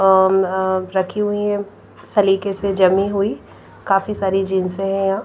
और अह रखी हुई हैं सलीके से जमी हुई काफी सारी जींसे है यहां।